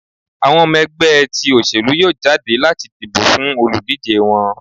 awọn ọmọ ẹgbẹ ti oselú yọọ jadé lati dibo fún olúdije wọn.